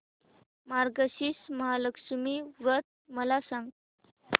मार्गशीर्ष महालक्ष्मी व्रत मला सांग